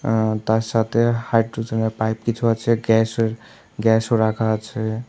আঃ তার সাথে হাইড্রোজেনের পাইপ কিছু আছে গ্যাসের গ্যাসও রাখা আছে।